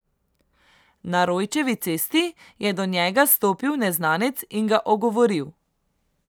Na Rojčevi cesti je do njega stopil neznanec in ga ogovoril.